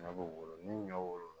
Ɲɔ b'o wolo ni ɲɔw